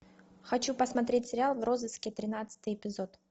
хочу посмотреть сериал в розыске тринадцатый эпизод